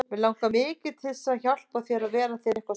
Mig langar mikið til að hjálpa þér og vera þér einhver stoð.